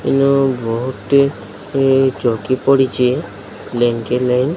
ଇନ ବୋହୁତ୍ ଟି ଇ ଚୌକି ପଡିଚି ବ୍ଲାଙ୍କେଟ୍ ନାଇଁ।